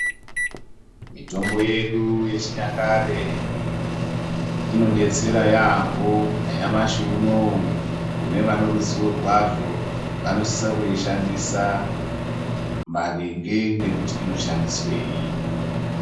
Mitombo yedu yechinyakare inodetsera yaamboo nyamashi unowu kune vane ruzivo rwazvo vanosisa kurishandisa maringe nekuti inoshandiswei.